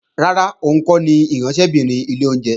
Rárá, òun kọ́ ni ìránṣẹ́bìnrin ilé oúnjẹ